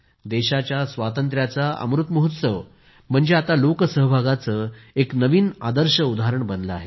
देशाच्या स्वातंत्र्याचा अमृत महोत्सव म्हणजे आता लोक सहभागाचे एक नवीन आदर्श उदाहरण बनले आहे